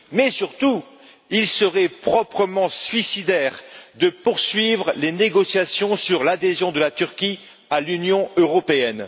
Mais, surtout, il serait proprement suicidaire de poursuivre les négociations sur l'adhésion de la Turquie à l'Union européenne.